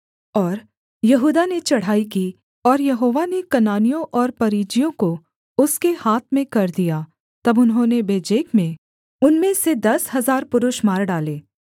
और यहूदा ने चढ़ाई की और यहोवा ने कनानियों और परिज्जियों को उसके हाथ में कर दिया तब उन्होंने बेजेक में उनमें से दस हजार पुरुष मार डाले